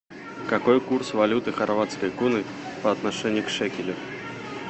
какой курс валюты хорватской куны по отношению к шекелю